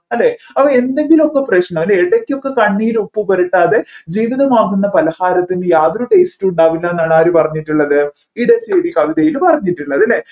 അല്ലെ അപ്പോ എന്തെങ്കിലുമൊക്കെ പ്രശ്നം അല്ലെ ഇടക്കൊക്കെ കണ്ണീർ ഉപ്പ് പുരട്ടാതെ ജീവിതമാകുന്ന പലഹാരത്തിന് യാതൊരു taste ഉം ഉണ്ടാവില്ലെന്നാണ് ആര് പറഞ്ഞിട്ടുള്ളത് ഇടശ്ശേരി കവിതയും പറഞ്ഞിട്ടുള്ളത്